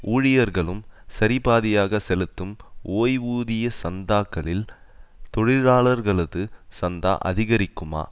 ஊழியர்களும் சரிபாதியாக செலுத்தும் ஓய்வூதிய சந்தாக்களில் தொழிலாளர்களது சந்தா அதிகரிக்குமா